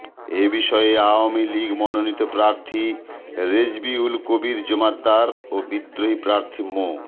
এ বিষয়ে আওয়ামী লীগ মনোনীত প্রার্থী রেজবি উল কবীর জোমাদ্দার ও বিদ্রোহী প্রার্থী মো